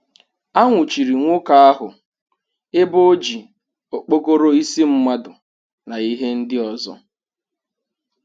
A nwụchiri nwoke ahụ ebe o ji okpokoro isi mmadụ na ihe ndị ọzọ.